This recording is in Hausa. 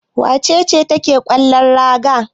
Wace ce take kallon gara?